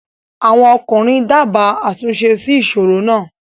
àwọn ọkùnrin dábàá àtúnṣe sí ìsoro náà.